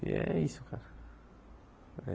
E é isso, cara.